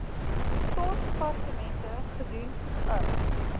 staatsdepartemente gedoen n